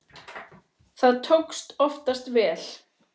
Það tókst oftast vel.